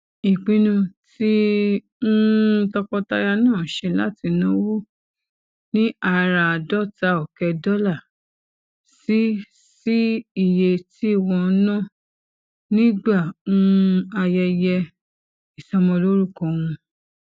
ìpinnu tí um tọkọtaya náà ṣe láti náwó ní àràádóta òké dólà sí sí iye tí wón ná nígbà um ayẹyẹ ìsọmọlórúkọ wọn